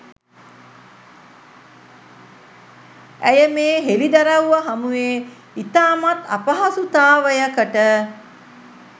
ඇය මේ හෙළිදරව්ව හමුවේ ඉතාමත් අපහසුතාවයකට